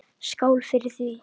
Skál fyrir því!